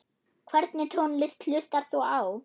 Hvernig tónlist hlustar þú á?